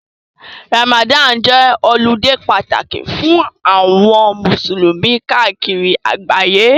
Ramadani jẹ́ ọludé pàtàkì fún àwọn musulumi káàkiri àgbáyé.